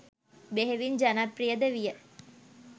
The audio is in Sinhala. බෙහෙවින් ජනප්‍රියද විය.